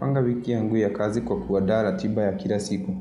Panga wiki yangu ya kazi kwa kuandaa ratiba ya kila siku.